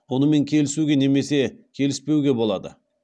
онымен келісуге немесе келіспеуге болады